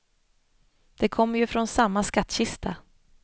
De kommer ju från samma skattkista.